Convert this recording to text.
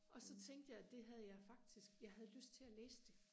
og så tænkte jeg det havde jeg faktisk jeg havde lyst til og læse det